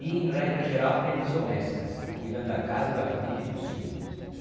E, em regra geral, prendas domésticas, cuidando da casa, da família e dos filhos.